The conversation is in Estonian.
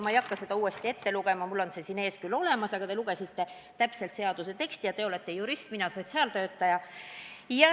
Ma ei hakka seda lõiget uuesti ette lugema, mul on see siin ees küll olemas, aga te ise juba lugesite seaduse teksti täpselt ette ja teie olete jurist, mina sotsiaaltöötaja.